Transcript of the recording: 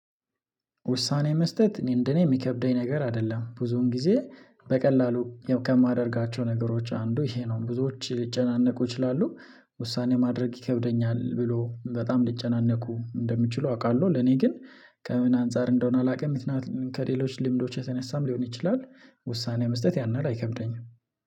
ውሳኔ መስጠት እኔ እንደኔ የሚከብደኝ ነገር አይደለም ብዙን ጊዜ በቀላሉ ከማደርጋቸው ነገሮች አንዱ ይሄ ነው። ብዙዎች ሊጨናነቁ ይችላሉ ውሳኔ ማድረግ ይከብደኛል ብሎ በጣም ሊጨናነቁ እንደምችሉ አውቃለሁ። ለኔ ግን ከምን አንፃር እንደሆነ አላውቅም። ከሌሎች ልምዶች የተነሳም ሊሆን ይችላል። ውሳኔ መስጠት ያን የህል አይከብደኝም።